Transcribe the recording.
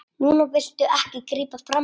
Núna viltu ekki grípa frammí.